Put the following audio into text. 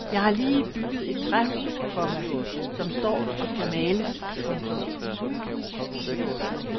Jeg har lige bygget et træhus, komma som står og skal males. punktum